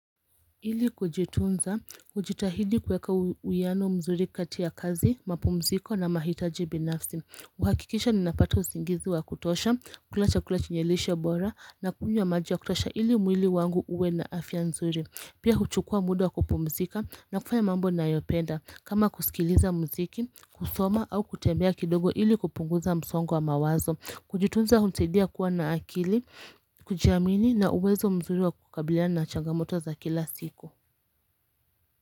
Ili kujitunza, ujitahidi kuweka uwiano mzuri kati ya kazi, mapumziko na mahitaji binafsi. Huhakikisha ninapata usingizi wa kutosha, kula chakula chenye lishe bora na kunywa maji ya kutosha ili mwili wangu uwe na afya nzuri. Pia huchukua muda wa kupumzika na kufanya mambo ninayopenda. Kama kusikiliza muziki, kusoma au kutembea kidogo ili kupunguza msongo wa mawazo. Kujitunza hunisaidia kuwa na akili, kujiamini na uwezo mzuri wa kukabiliana na changamoto za kila siku.